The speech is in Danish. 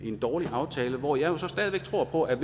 dårlig aftale hvor jeg så stadig væk tror på at